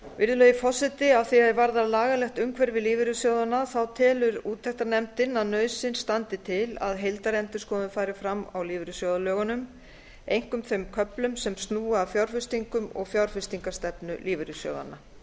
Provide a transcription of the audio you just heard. virðulegi forseti að því er varðar lagalegt umhverfi lífeyrissjóðanna telur úttektarnefndin að nauðsyn standi til að heildarendurskoðun fari fram á lífeyrissjóðalögunum einkum þeim köflum sem snúa að fjárfestingum og fjárfestingarstefnu lífeyrissjóðanna